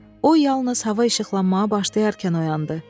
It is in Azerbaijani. O yalnız hava işıqlanmağa başlayarkən oyandı.